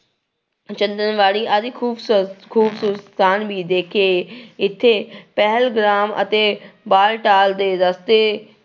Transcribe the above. ਚੰਦਰਵਾੜੀ ਆਦਿ ਖੂਬਸੂਰਤ ਖੂਬਸੂਰਤ ਸਥਾਨ ਵੀ ਦੇਖੇ ਇੱਥੇ ਪਹਿਲਗ੍ਰਾਮ ਅਤੇ ਦੇ ਰਸਤੇ